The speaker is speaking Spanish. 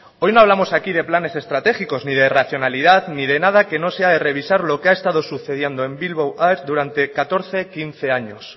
hoy no hablamos aquí de planes estratégicos ni de racionalidad ni de nada que no sea revisar lo que ha estado sucediendo en bilbao air durante catorce quince años